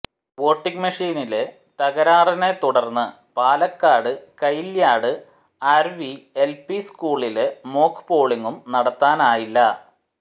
voting മെഷീനില് തകരാറിനെ തുടര്ന്ന് പാലക്കാട് കയില്യാട് ആര്വിഎല്പി സ്കൂളില് മോക് പോളിങും നടത്തനായില്ല